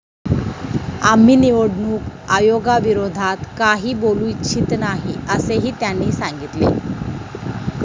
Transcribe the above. आम्ही निवडणूक आयोगाविरोधात काही बोलू इच्छित नाही, असेही त्यांनी सांगितले.